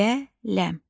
Qələm.